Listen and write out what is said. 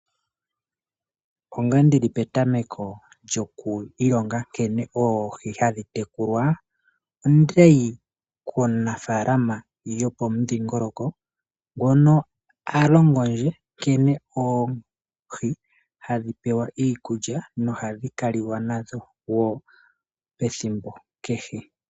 Onga ndili petameko lyoku ilonga nkene oohi hadhi tekulwa ondayi komunafalama gopomudhingoloko ngono alongo ndje nkene oohi hadhi pewa iikulya nohadhi kaliwa nadho pethimbo kehe.